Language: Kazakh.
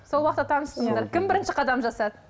сол уақытта таныстыңыздар кім бірінші қадам жасады